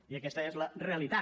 i aquesta és la realitat